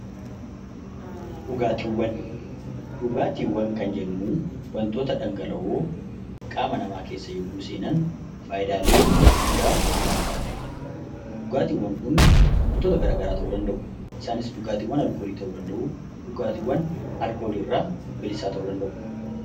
Dhugaatiiwwan kan jennuun dhangala'oo qaama namaa keessa gaafa seenan fayidaalee guddaa namaaf laatanidha. Dhugaatiiwwan Kun wantoota garaagaraa ta'uu danda'u. Isaanis dhugaatiiwwan alkoolii ta'uu danda'u yookaan kan alkoolii irraa bilisaa ta'uu danda'u